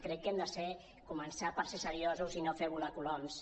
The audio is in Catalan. crec que hem de començar per ser seriosos i no fer volar coloms